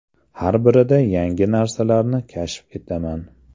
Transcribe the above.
Har birida yangi narsalarni kashf etaman.